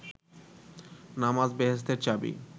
নামাজ বেহেস্তের চাবি